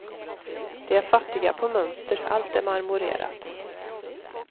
De är fattiga på mönster, allt är marmorerat.